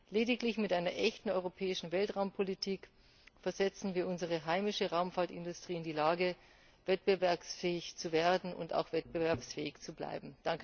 Lediglich mit einer echten europäischen Weltraumpolitik versetzen wir unsere heimische Raumfahrtindustrie in die Lage, wettbewerbsfähig zu werden und auch wettbewerbsfähig zu bleiben.